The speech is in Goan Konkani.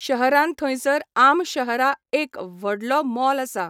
शहरान थंयसर आम शहरा एक व्हडलो मॉल आसा.